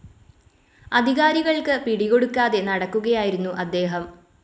അധികാരികൾക്ക് പിടികൊടുക്കാതെ നടക്കുകയായിരുന്നു അദ്ദേഹം.